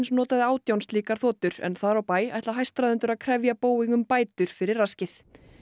notaði átján slíkar þotur en þar á bæ ætla hæstráðendur að krefja Boeing um bætur fyrir raskið